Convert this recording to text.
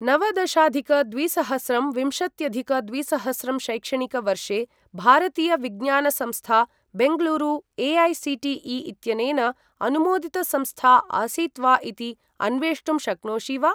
नवदशाधिक द्विसहस्रं विंशत्यधिक द्विसहस्रं शैक्षणिकवर्षे भारतीय विज्ञान संस्था, बेङ्गलूरु ए.ऐ.सी.टी.ई. इत्यनेन अनुमोदितसंस्था आसीत् वा इति अन्वेष्टुं शक्नोषि वा?